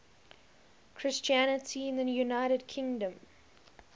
christianity in the united kingdom